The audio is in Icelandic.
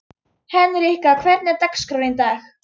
Hendrikka, hvernig er dagskráin í dag?